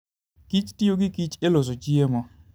kich tiyo gi kich e loso chiemo.